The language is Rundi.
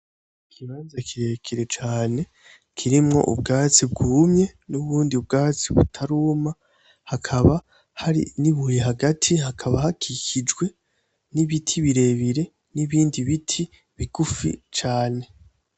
Ikibanza kirekire cane kirimwo ubwatsi bwumye n'ubundi bwatsi butaruma hakaba hari nibuye hagati, hakaba hakikijwe nibiti birebire nibindi biti bigufi cane